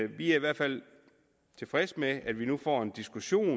vi er i hvert fald tilfredse med at vi nu får en diskussion